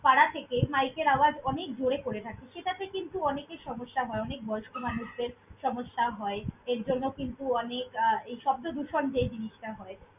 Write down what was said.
পাড়া থেকে mike এর আওয়াজ অনেক জোরে করে থাকে। সেটাতে কিন্তু অনেকের সমস্যা হয়, অনেক বয়স্ক মানুষদের সমস্যা হয় এরজন্য কিন্তু, অনেক আহ এই শব্দদূষণ যে জিনিসটা হয়।